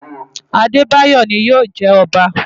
Adebayor ni yóò jẹ ọba.